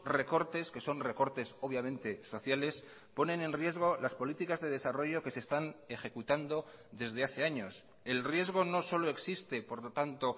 recortes que son recortes obviamente sociales ponen en riesgo las políticas de desarrollo que se están ejecutando desde hace años el riesgo no solo existe por lo tanto